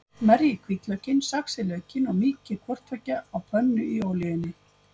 Merjið hvítlaukinn, saxið laukinn og mýkið hvort tveggja á pönnu í olíunni.